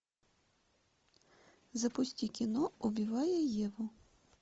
запусти кино убивая еву